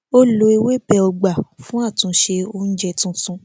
ó lo ewébẹ ọgbà fún àtúnṣe oúnjẹ tuntun